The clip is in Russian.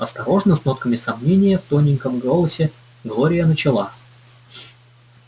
осторожно с нотками сомнения в тоненьком голосе глория начала